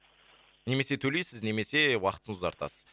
немесе төлейсіз немесе уақытты ұзартасыз